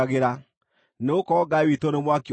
nĩgũkorwo “Ngai witũ nĩ mwaki ũniinanaga.”